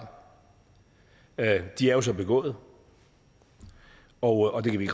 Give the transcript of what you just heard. de er jo så begået og og det kan vi